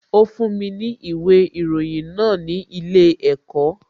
Ó fún mi ní ìwé ìròyìn náà ní ilé ẹ̀kọ́